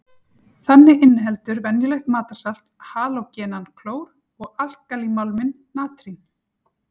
Þannig inniheldur venjulegt matarsalt halógenann klór og alkalímálminn natrín.